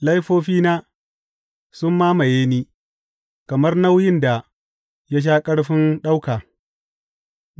Laifofina sun mamaye ni kamar nauyin da ya sha ƙarfin ɗauka.